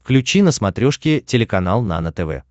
включи на смотрешке телеканал нано тв